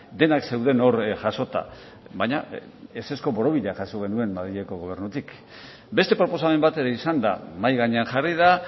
denak zeuden hor jasota baina ezezko borobila jaso genuen madrileko gobernutik beste proposamen bat ere izan da mahai gainean jarri da